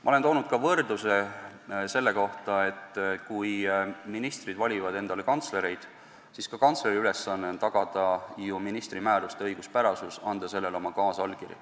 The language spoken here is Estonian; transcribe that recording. Ma olen toonud võrdluse, et kui ministrid valivad endale kantslereid, siis ka kantsleri ülesanne on tagada ministri määruste õiguspärasus ja anda selle kinnituseks oma kaasallkiri.